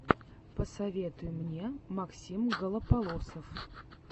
посоветуй мне максим голополосов